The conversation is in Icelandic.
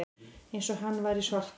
Eins og hann væri svartur.